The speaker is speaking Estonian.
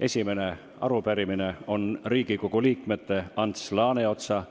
Esimene on Riigikogu liikmete Ants Laaneotsa,